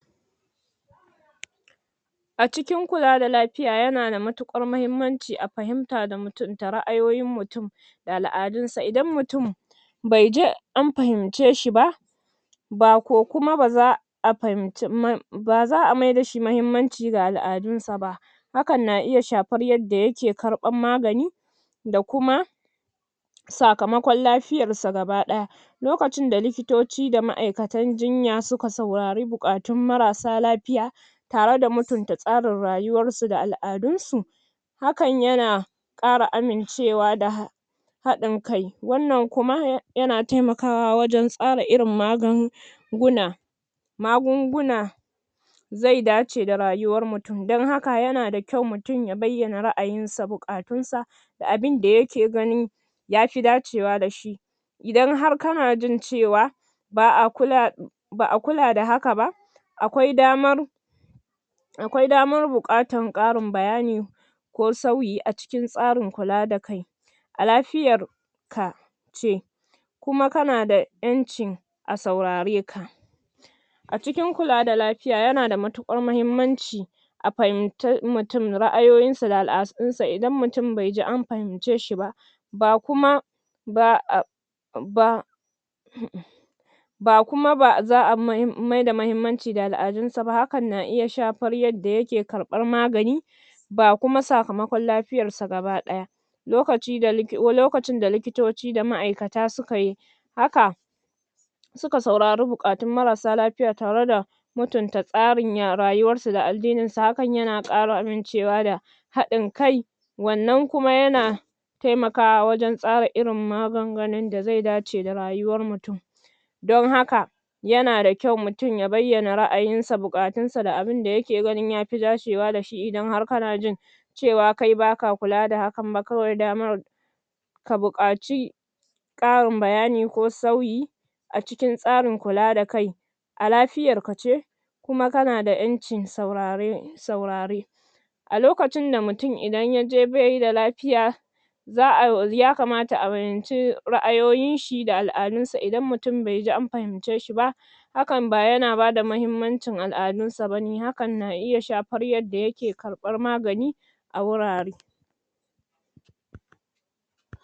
? A cikin kula da lafiya ya na da matuƙar mahimmanci a fahimta da mutum da ra'ayoyin mutum,? da al'adunsa. Idan mutum,? bai ji, anfahince shi ba,?? ba za a maida shi mahimmaci ga al'adunsa ba,? hakan na iya shafan yadda ya ke karɓar magani,? da kuma, da kuma sakamakon lafiyarsa gaba ɗaya.? Lokacin da likitocin da likitoci da malaman jinya su ka saurari buƙatun marasa lafiya,? tare da mutunta tsarin rayuwarsu da al'adunsu,? hakan ya na,? ƙara amincewa da,? haɗin kai. Wannan kuma, ya na taimakawa wajan tsara irin magunguna,? magunguna,? zai dace da rayuwar mutum. Dan haka ya na da kyau mutum ya bayyana ra'ayinsa buƙatunsa,? da abinda ya ke ganin,? ya fi dacewa da shi.? Idan har ka na jin cewa,? ba a kula,? ba a kula da haka ba,? akwai damar,? akwai damar buƙatar ƙarin bayani,? ko sauyi a cikin tsarin kula da kai.? A lafiyar,? ka, ce.? Kuma ka na da ƴancin, a saurareka.? A cikin kula da lafiya ya na da matuƙar mahimmanci,? a fahinta mutum ra'ayoyinsa da al'adunsa. Idan mutum baiji an fahince shi ba,? ba kuma,? ba kuma ba za a maida mahimmaci da al'adunsa ba hakan na iya shafar yadda ya ke karɓar magani,? ba kuma sakamakon lafiyarsa gaba ɗaya.? Lokaci da, lokacin da likitoci da ma'akata su ka yi,? haka,? suka saurari buƙatun marasa lafiya tare da,? mutunta tsarin ya rayuwarsu da addininsu hakan na ƙara amincewa da,? haɗin kai.? Wannan kuma ya na,? taimakawa wajan tsara irin magungunan da zai dace da rayuwar mutum.? Dun haka,? ya na da kyau mutum ya bayyana ra'ayinsa, buƙatunsa, da abinda ya ke ganin ya fi dacewa da shi, idan har ka na jin,? cewa kawai kai ba ka kula da hakan ba kawai damar,? ka buƙaci,? ƙarin bayani ko sauyi, a cikin tsarin kula da kai.? A lafiyarka ce,? kuma ka na da ƴancin saurare, saurare.? A lokacin da mutum idan ya je baida lafiya,? za a, ya kamata a fahinci ra'ayoyin shi da ala'adun sa. Idan mutum bai ji an fahince shi ba,? hakan ba ya na bada mahimmancin al'adunsa ba ne. Hakan na iya shafar yadda ya ke karɓar magani,? a wurare.